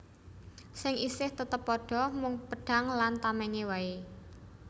Sing isih tetep padha mung pedhang lan tamèngé waé